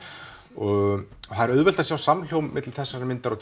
það er auðvelt að sjá samhljóm með þessari mynd og